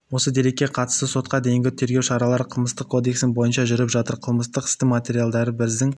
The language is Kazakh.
осы дерекке қатысты сотқа дейінгі тергеу шаралары қылмыстық кодексінің бойынша жүріп жатыр қылмыстық істің материалдары біздің